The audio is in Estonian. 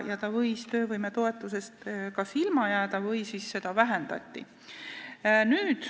Inimene võis kas töövõimetoetusest ilma jääda või seda vähendati.